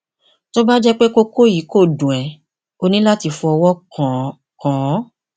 tó bá jẹ pé kókó yìí kò dùn ẹ o ní láti fọwọ kàn án kàn án